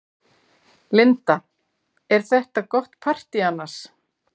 Linda: Er þetta gott partý annars?